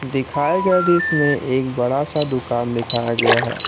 दिखाए गए दृश्य में एक बड़ा सा दुकान दिखाया गया है।